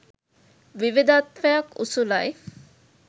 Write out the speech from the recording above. විවිධත්වයක් උසුලයි.